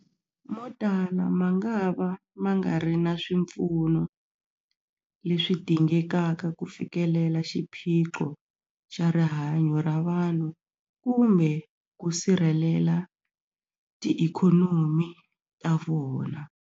Motala mangava ma nga ri na swipfuno leswi dingekaka ku fikelela xiphiqo xa rihanyu ra vanhu kumbe ku sirhelela tiikhonomi ta vona.